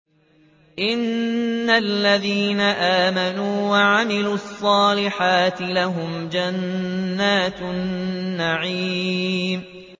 إِنَّ الَّذِينَ آمَنُوا وَعَمِلُوا الصَّالِحَاتِ لَهُمْ جَنَّاتُ النَّعِيمِ